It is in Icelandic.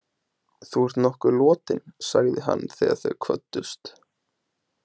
Þú ert nokkuð lotin, sagði hann þegar þau kvöddust.